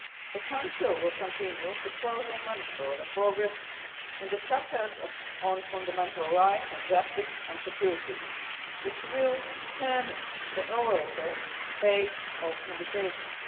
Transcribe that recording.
The Council will continue to closely monitor the progress in the chapters on Fundamental Rights and Justice and Security which will determine the overall pace of negotiations.